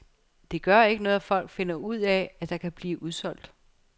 Det gør ikke noget, at folk finder ud af, at der kan blive udsolgt.